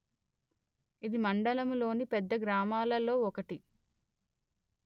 ఇది మండలములోని పెద్ద గ్రామాలలో ఒకటి